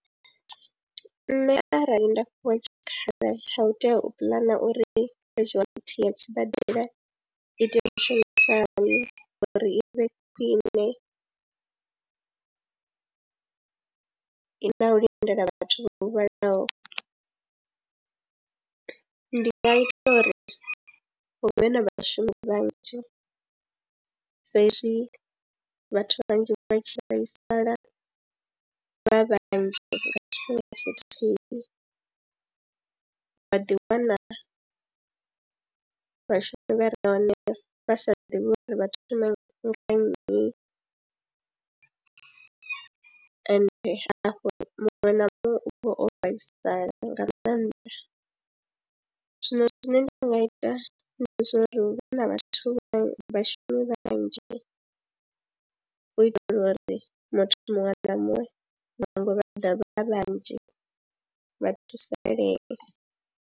Nṋe arali nda fhiwa tshikhala tsha u tea u puḽana uri casuality ya tshibadela i tea u shumisa hani uri i vhe khwine, na u lindela vhathu vha huvhalaho, ndi nga ita uri huvhe na vhashumi vhanzhi sa izwi vhathu vhanzhi vha tshi vhaisala vha vhanzhi nga tshifhinga tshithihi vha ḓiwana vhashumi vha re hone vha sa ḓivhi uri vha thome nga nnyi ende hafho muṅwe na muṅwe u vha o vhaisala nga maanḓa. Zwino zwine nda nga ita ndi zwori hu vhe na vhathu vha vhashumi vhanzhi u itela uri muthu muṅwe na muṅwe nangwe vha ḓa vha vhanzhi vha thusalee.